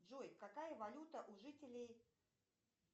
джой какая валюта у жителей